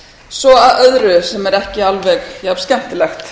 svo að öðru sem er ekki alveg jafn skemmtilegt